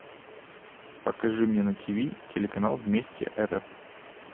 покажи мне на тиви телеканал вместе рф